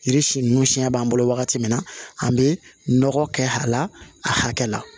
Yiri si ninnu siɲɛ b'an bolo wagati min na an bɛ nɔgɔ kɛ a la a hakɛ la